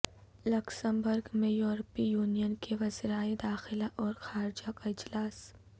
Luxembourg میں یورپی union کے وزرائے داخلہ اور خارجہ کا اجلاس